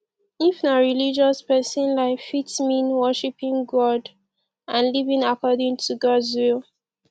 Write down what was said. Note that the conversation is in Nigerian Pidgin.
if na religious person life fit mean worshiping god and living according to gods will